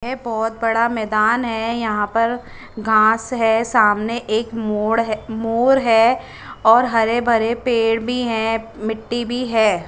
ये बहोत बड़ा मैदान है यहा पर घास है सामने एक मोड़ है मोर है और हरे भरे पेड़ भी है मिट्टी भी है।